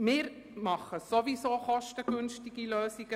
Wir realisieren sowieso kostengünstige Lösungen.